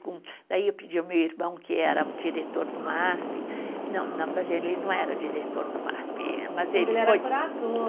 Daí eu pedi ao meu irmão, que era diretor do MASP... Não, não, quer dizer, ele não era diretor do MASP... Mas ele foi. Ele era curador.